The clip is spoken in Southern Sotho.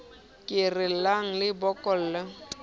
ke re llang le bokolleng